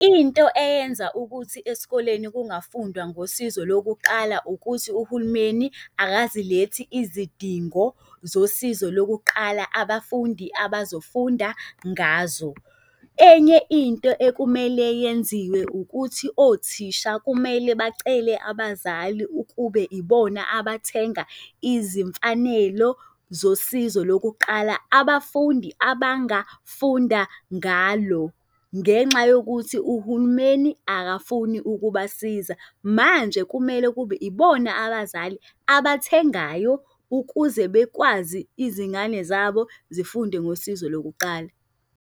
Into eyenza ukuthi esikoleni kungafundwa ngosizo lokuqala ukuthi uhulumeni akazilethi izidingo zosizo lokuqala abafundi abazofunda ngazo. Enye into ekumele yenziwe ukuthi othisha kumele bacele abazali ukube ibona abathenga izimfanelo zosizo lokuqala, abafundi abangafunda ngalo. Ngenxa yokuthi uhulumeni akafuni ukubasiza. Manje kumele kube ibona abazali abathengayo ukuze bekwazi izingane zabo zifunde ngosizo lokuqala.